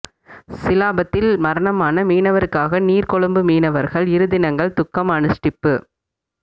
சிலாபத்தில் மரணமான மீனவருக்காக நீர்கொழும்பு மீனவர்கள் இரு தினங்கள் துக்கம் அனுஸ்டிப்பு